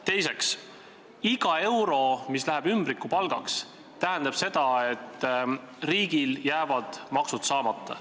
Teiseks, iga euro, mis läheb ümbrikupalgaks, tähendab seda, et riigil jäävad maksud saamata.